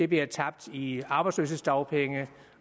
bliver tabt i form arbejdsløshedsdagpenge